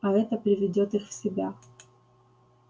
а это приведёт их в себя